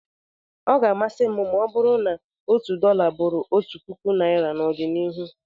Ọ ga-amasị m ma ọ bụrụ na otu dọla bụrụ otu naira n'ọdịnihu